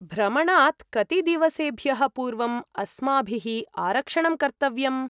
भ्रमणात् कति दिवसेभ्यः पूर्वम् अस्माभिः आरक्षणं कर्तव्यम्?